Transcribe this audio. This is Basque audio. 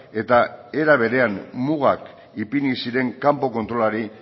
eta era berean mugak ipini zuren kanpo kontrolari